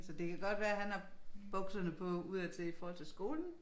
Så det kan godt være han har bukserne på udadtil i forhold til skolen